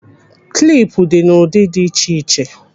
Kilp dị n'ụdị dị iche iche.